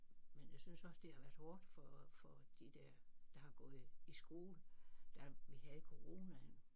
Men jeg synes også det har været hårdt for for de der der har gået i skole da vi havde coronaen